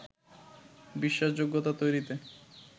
বিশ্বাসযোগ্যতা তৈরিতে